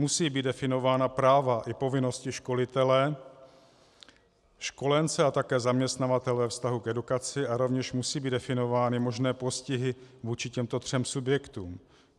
Musí být definována práva i povinnosti školitele, školence a také zaměstnavatele ve vztahu k edukaci a rovněž musí být definovány možné postihy vůči těmto třem subjektům.